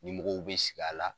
Ni mɔgɔw bɛ sigi a la